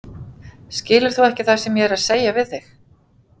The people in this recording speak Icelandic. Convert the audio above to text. Skilur þú ekki það sem ég er að segja við þig!